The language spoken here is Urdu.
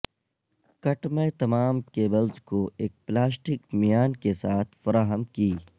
کٹ میں تمام کیبلز کو ایک پلاسٹک میان کے ساتھ فراہم کی